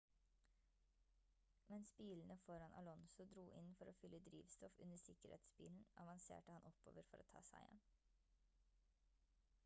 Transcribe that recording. mens bilene foran alonso dro inn for fylle drivstoff under sikkerhetsbilen avanserte han oppover for å ta seieren